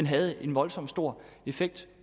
havde en voldsomt stor effekt